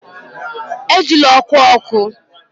Ejila ọkụ ọkụ!